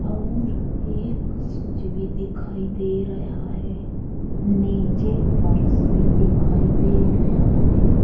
अउर एक सूचि भी दिखाई दे रेयहा है। नीचे फरश भी दिखाई दे रेयहा है।